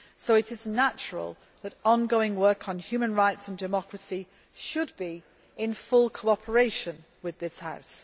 It is therefore natural that ongoing work on human rights and democracy should be in full cooperation with this House.